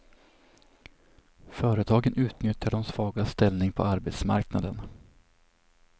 Företagen utnyttjar de svagas ställning på arbetsmarknaden.